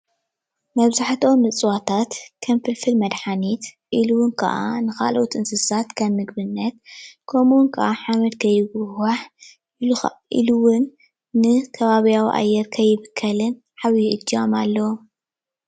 መብዛሕትኦም እፅዋታት ከም ፍልፍል መድሓኒት እሉ እውን ከኣ ንካልኦት እንስሳት ከም ምግብነት ከምኡ እውን ከዓ ሓመድ ከይጉሕጓሕ ኢሉ እውን ንከባብያዊ አየር ከይብከልን ዓብይ እጃም አለዎ።